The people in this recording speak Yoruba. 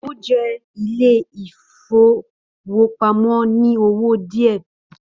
Ó jẹ ilé ìfowópamọ́ ní owó díẹ̀